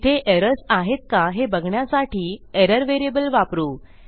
तिथे एरर्स आहेत का हे बघण्यासाठी एरर व्हेरिएबल वापरू